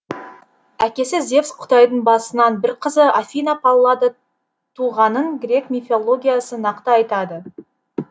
әкесі зевс құдайдың басынан бір қызы афина паллада туғанын грек мифологиясы нақты айтады